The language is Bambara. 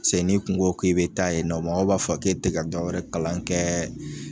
Se n'i tun ko k'i be taa yen nɔ mɔgɔw b'a fɔ k'e te ka dɔ wɛrɛ kalan kɛɛ